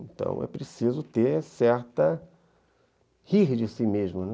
Então, é preciso ter certa... rir de si mesmo, né?